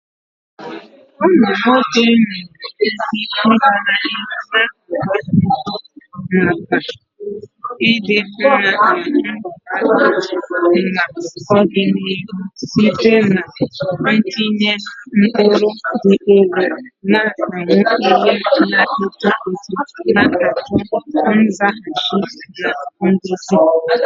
Ụmụ nwoke nwere ike ịga n'ihu na-agba mbọ maka ịdị mma na mbọ ha n'ọdịniihu site n'itinye ụkpụrụ dị elu, na-amụ ihe na-eto eto, na-achọ nzaghachi na nduzi.